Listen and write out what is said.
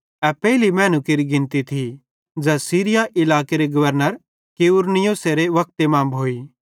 ए पेइली मैनू केरि गिनती थी ज़ै सीरिया इलाकेरे गवर्नर क्विरिनियुसेरे वक्ते मां भोई